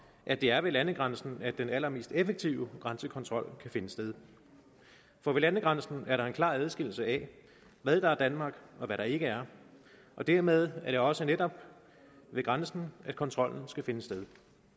at det er ved landegrænsen den allermest effektive grænsekontrol kan finde sted for ved landegrænsen er der en klar adskillelse af hvad der er danmark og hvad der ikke er og dermed er det også netop ved grænsen at kontrollen skal finde sted